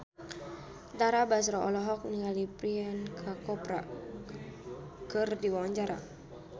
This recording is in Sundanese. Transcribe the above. Tara Basro olohok ningali Priyanka Chopra keur diwawancara